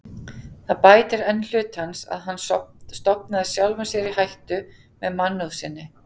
Það bætir enn hlut hans, að hann stofnaði sjálfum sér í hættu með mannúð sinni.